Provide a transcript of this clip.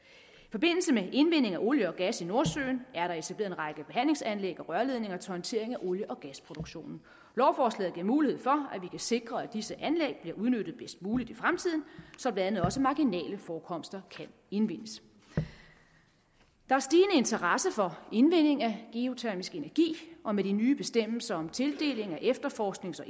forbindelse med indvinding af olie og gas i nordsøen er der etableret en række behandlingsanlæg og rørledninger til håndtering af olie og gasproduktionen lovforslaget giver mulighed for at vi kan sikre at disse anlæg bliver udnyttet bedst muligt i fremtiden så blandt andet også marginale forekomster kan indvindes der er stigende interesse for indvinding af geotermisk energi og med de nye bestemmelser om tildeling af efterforsknings og